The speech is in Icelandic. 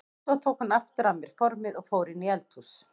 Svo tók hún aftur af mér formið og fór inn í eldhús.